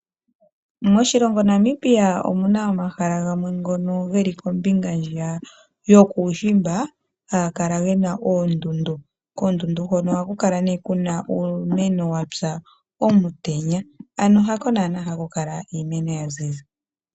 Moshilongo Namibia omuna omahala gamwe ngono geli kombinga ndjiya yokuushimba haga kala gena oondundu. Koondundu hono ohaku kaka nee kuna uumeno wapya omutenya. Ano hako naana haku kala kuna iimeno yaziza.